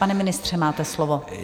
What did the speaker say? Pane ministře, máte slovo.